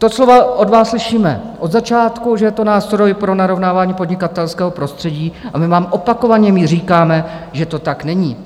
Ta slova od vás slyšíme od začátku, že je to nástroj pro narovnávání podnikatelského prostředí, a my vám opakovaně říkáme, že to tak není.